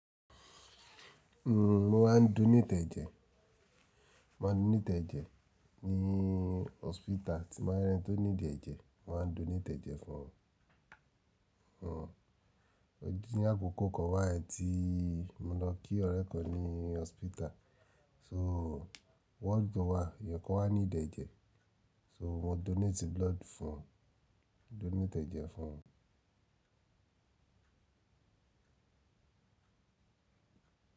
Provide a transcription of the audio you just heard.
N mo ma donate ẹ́jẹ̀, ma donate ẹ́jẹ̀ ní hospital, tí máa rí ẹni tó need ẹ́jẹ̀ mo ma donate ẹ́jẹ̀ fún wun mo ji ní àkókò kan bi tí mo lọ kí ọ̀rẹ́ kan ní hospital, so ward kan wa, ẹ̀yan kan wá need ẹ́jẹ̀, so mo donate blood fún un, mo donate ẹ́jẹ̀ fún un.